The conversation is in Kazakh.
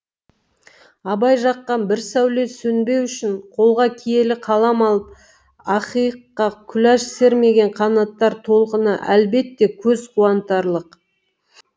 абай жаққан бір сәуле сөнбеу үшін қолға киелі қалам алып ақиыққа құлаш сермеген қанаттар толқыны әлбетте көз қуантарлық